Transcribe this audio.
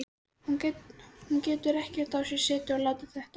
Hún getur ekki á sér setið að láta þetta flakka.